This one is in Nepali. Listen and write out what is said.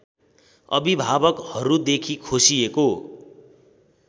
अभिभावकहरूदेखि खोसिएको